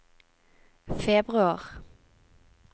februar